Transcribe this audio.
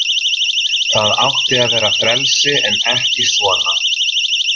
Það átti að vera frelsi en ekki svona.